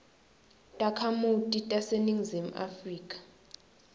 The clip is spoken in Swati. takhamuti taseningizimu afrika